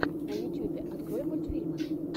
на ютюбе открой мультфильмы